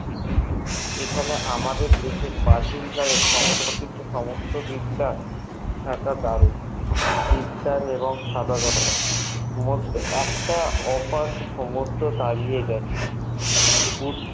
এখানে আমাদের দেশের প্রাচীন কালের সংরক্ষিত সমস্ত বিদ্যা থাকা দারুণ বিদ্যান এবং একটা ওপর সমুদ্র দাড়িয়ে গেছে